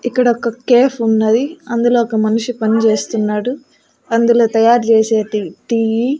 ఇక్కడ ఒక కేఫ్ ఉన్నది అందులో ఒక మనిషి పనిజేస్తున్నాడు అందులో తయారు చేసేటివి టీ .